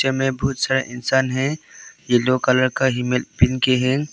ये में बहुत सारे इंसान है येलो कलर का हेलमेट पहन के हैं।